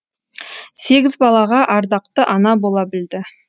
сегіз балаға ардақты ана бола білді